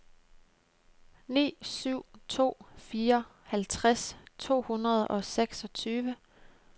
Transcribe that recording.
ni syv to fire halvtreds to hundrede og seksogtyve